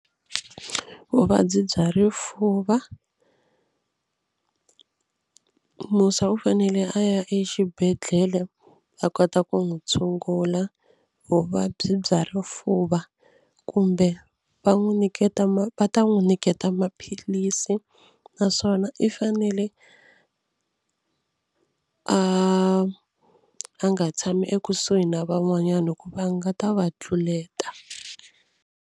Vuvabyi bya rifuva Musa u fanele a ya exibedhlele a kota ku n'wi tshungula vuvabyi bya rifuva kumbe va n'wi nyiketa va ta n'wi nyiketa maphilisi naswona i fanele a a nga tshami ekusuhi na van'wanyana hikuva a nga ta va tluleta.